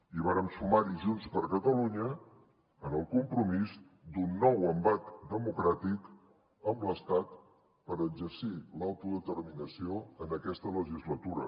i vàrem sumar hi junts per catalunya en el compromís d’un nou embat democràtic amb l’estat per exercir l’autodeterminació en aquesta legislatura